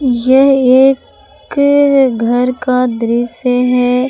यह एक घर का दृश्य है।